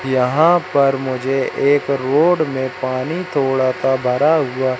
यहां पर मुझे एक रोड में पानी थोड़ा सा भरा हुआ--